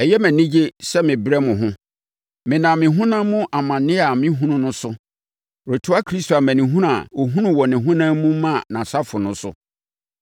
Ɛyɛ me anigye sɛ merebrɛ mo ho. Menam me honam mu amaneɛ a merehunu no so retoa Kristo amanehunu a ɔhunuu wɔ ne honam mu maa nʼasafo no so.